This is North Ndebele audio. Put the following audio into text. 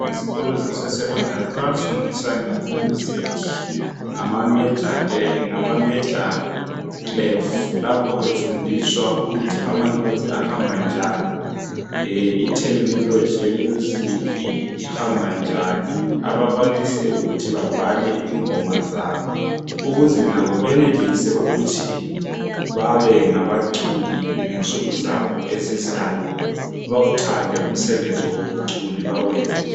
izikolo zase secondary bayafundisa nge music ngama major clef lapho befundiswa ukuthi ama notes ahamba njani i tehnology ye music ihamba njani abakwanise ukuthi babhale ingoma zabo ukuze labo benelise ukuthi babe ngabaculi ngensuku zabo ezizayo bawuthande umsebenzi wobuculi bawenze njalo